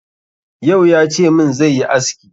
Yau ya ce min zai yi aski.